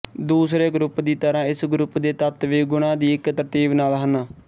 ਦੁੁਸਰੇ group ਦੀ ਤਰ੍ਹਾਂ ਇਸ ਗਰੁੱਪ ਦੇ ਤੱਤ ਵੀ ਗੁਣਾ ਦੀ ਇੱਕ ਤਰਤੀਬ ਨਾਲ ਹਨ